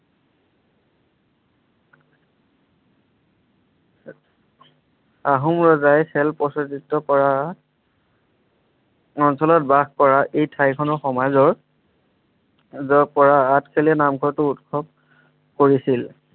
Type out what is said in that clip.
আহোম ৰজাই খেল কৰা অঞ্চলত বাস কৰা এই ঠাইখনৰ সমাজৰ পৰা আঠখেলীয়া নামঘৰটো উৎসৱ কৰিছিল।